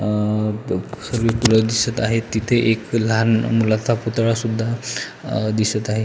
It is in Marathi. अ सगळी फुल दिसत आहेत तिथे एक लहान मुलाचा पुतळा सुद्धा अ दिसत आहे.